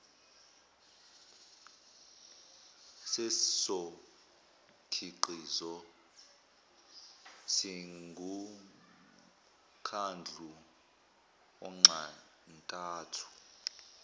sezokhiqizo singumkhandlu onxantathu